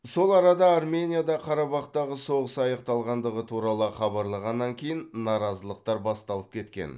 сол арада арменияда қарабақтағы соғыс аяқталғандығы туралы хабарланғаннан кейін наразылықтар басталып кеткен